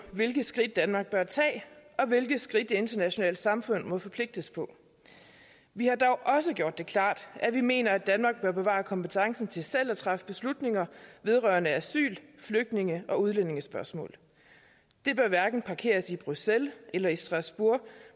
hvilke skridt danmark bør tage og hvilke skridt det internationale samfund må forpligtes på vi har dog også gjort det klart at vi mener at danmark bør bevare kompetencen til selv at træffe beslutninger vedrørende asyl flygtninge og udlændingespørgsmål det bør hverken parkeres i bruxelles eller i strasbourg